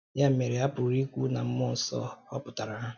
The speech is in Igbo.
Ya mere, a pụrụ ikwu na mmụọ nsọ họpụtara ha.